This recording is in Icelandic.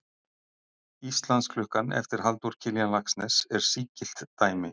Íslandsklukkan eftir Halldór Kiljan Laxness er sígilt dæmi.